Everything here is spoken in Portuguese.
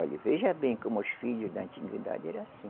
Olhe, veja bem como os filhos da antiguidade eram assim.